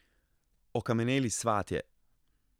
Okameneli svatje.